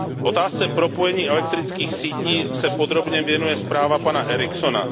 Otázce propojení elektrických sítí se podrobně věnuje zpráva pana Erikssona.